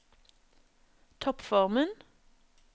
toppformen